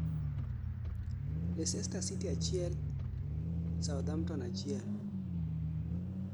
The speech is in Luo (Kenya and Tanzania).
Leister City 1-1 Southamptom